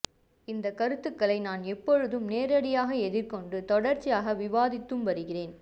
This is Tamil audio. இந்த கருத்துக்களை நான் எப்போதும் நேரடியாக எதிர்கொண்டு தொடர்ச்சியாக விவாதித்தும் வருகிறேன்